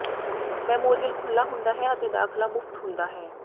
memorial ਖੁੱਲ੍ਹਾ ਹੁੰਦਾ ਹੈ ਅਤੇ ਦਾਖਲਾ ਮੁਫ਼ਤ ਹੁੰਦਾ ਹੈ